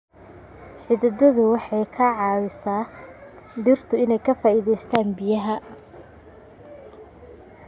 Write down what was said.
Xididdadu waxay ka caawisaa dhirta inay ka faa'iidaystaan ??biyaha.